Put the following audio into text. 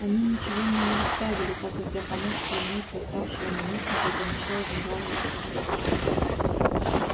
они ничего мне не оставили так как я помог свергнуть восставшего наместника и помешал адмиралу заслужить славу